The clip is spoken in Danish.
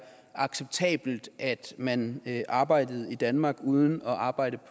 acceptabelt at man arbejder i danmark uden at arbejde